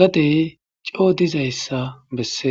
gadee coo dizayssa bessees.